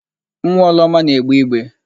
Nwa Ọlụoma na-egbe igbe.